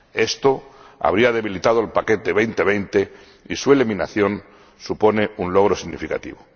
Esto habría debilitado el paquete 2020, y su eliminación supone un logro significativo.